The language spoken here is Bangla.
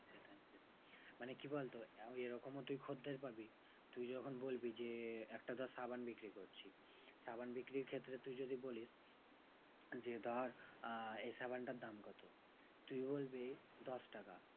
মানে কি বলতো? এরকমও তুই খদ্দের পাবি তুই যখন বলবি যে, একটা ধর সাবান বিক্রি করছিস। সাবান বিক্রির ক্ষেত্রে তুই যদি বলিস যে ধর আহ এই সাবানটার দাম কত? তুই বলবি দশ টাকা।